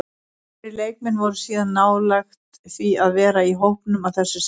Fleiri leikmenn voru síðan nálægt því að vera í hópnum að þessu sinni.